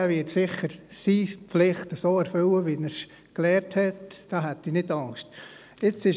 Er wird seine Pflicht sicher so erfüllen, wie er es gelernt hat.